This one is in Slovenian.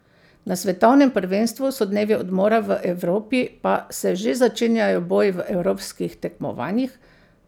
Na svetovnem prvenstvu so dnevi odmora, v Evropi pa se že začenjajo boji v evropskih tekmovanjih.